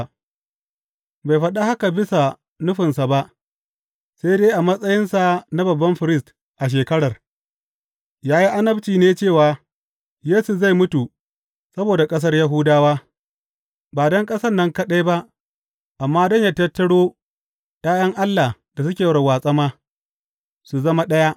Bai faɗa haka bisa nufinsa ba, sai dai a matsayinsa na babban firist a shekarar, ya yi annabci ne cewa Yesu zai mutu saboda ƙasar Yahudawa, ba don ƙasan nan kaɗai ba amma don yă tattaro ’ya’yan Allah da suke warwatse ma, su zama ɗaya.